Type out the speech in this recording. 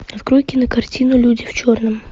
открой кинокартину люди в черном